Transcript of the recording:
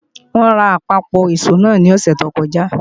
Wọ́n ra àpapọ̀ ìṣó náà ní òsẹ̀ tó kọjá